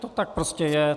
To tak prostě je.